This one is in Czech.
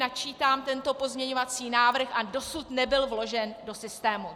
Načítám tento pozměňovací návrh a dosud nebyl vložen do systému.